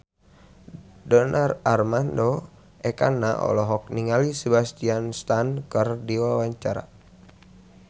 Donar Armando Ekana olohok ningali Sebastian Stan keur diwawancara